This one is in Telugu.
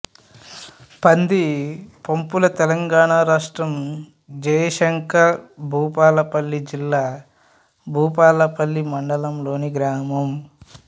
పందిపంపుల తెలంగాణ రాష్ట్రం జయశంకర్ భూపాలపల్లి జిల్లా భూపాలపల్లి మండలంలోని గ్రామం